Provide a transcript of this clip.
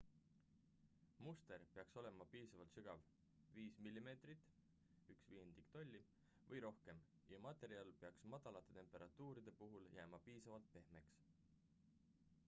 muster peaks olema piisavalt sügav 5 mm 1/5 tolli või rohkem ja materjal peaks madalate temperatuuride puhul jääma piisavalt pehmeks